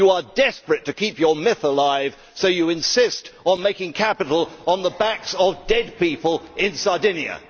You are desperate to keep your myth alive, so you insist on making capital on the backs of dead people in Sardinia.